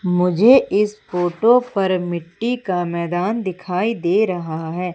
मुझे इस फोटो पर मिट्टी का मैदान दिखाई दे रहा है।